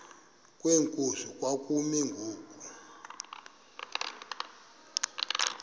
kwenkosi kwakumi ngoku